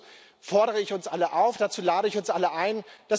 Dazu fordere ich uns alle auf, dazu lade ich uns alle ein.